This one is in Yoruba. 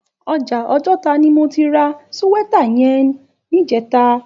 Òjà Ojota ni mó ti rà síwètá yèn nijètá